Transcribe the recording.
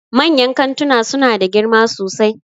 Manyan kantuna suna da girma sosai